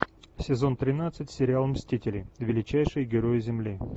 сезон тринадцать сериал мстители величайшие герои земли